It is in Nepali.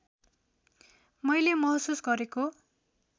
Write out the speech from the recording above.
मैले महसुस गरेको